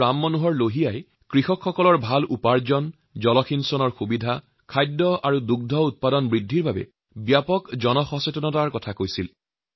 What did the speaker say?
ডঃ ৰাম মনোহৰ লোহিয়াই আমাৰ কৃষকসকলৰ বাবে উন্নতমানৰ উপাৰ্জন উন্নতমানৰ জলসিঞ্চন ব্যৱস্থা আৰু এই সকলো বিষয়ক সুনিশ্চিত কৰাৰ বাবে তথা খাদ্য আৰু দুগ্ধ উৎপাদন বৃদ্ধিৰ সন্দৰ্ভত সাৰ্বিক জনজাগৰণৰ কথা কৈছিল